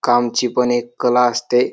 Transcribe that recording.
कामची पण एक कला असते.